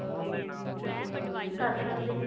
ਕਰ ਸਕਦੇ ਹਾਂ